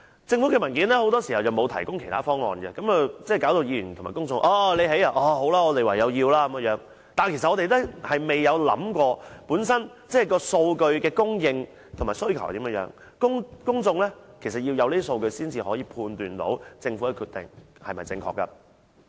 政府的文件很多時候沒有提供其他方案，令議員及公眾覺得，政府興建了就唯有接受，我們未能按數據顯示的供應及需求來考慮，其實要得到數據才可以判斷政府的決定是否正確。